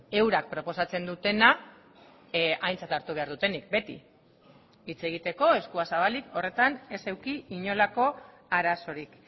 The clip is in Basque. eurak proposatzen dutena aintzat hartu behar dutenik beti hitz egiteko eskua zabalik horretan ez eduki inolako arazorik